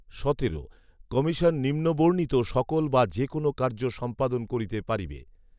সতেরো। কমিশন নিম্নবর্ণিত সকল বা যে কোন কার্য সম্পাদন করিতে পারিবে